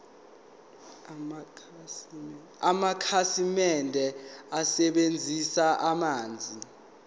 amakhasimende asebenzisa amanzi